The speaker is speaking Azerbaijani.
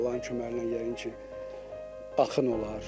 Allahın köməyi ilə yəqin ki axın olar.